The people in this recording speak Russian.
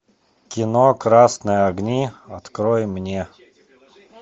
кино красные огни открой мне